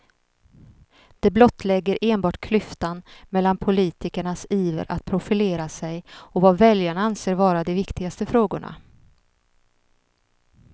Det blottlägger enbart klyftan mellan politikernas iver att profilera sig och vad väljarna anser vara de viktigaste frågorna.